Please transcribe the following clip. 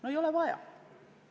No ei ole vaja!